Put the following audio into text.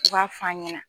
U b'a f'a ɲɛna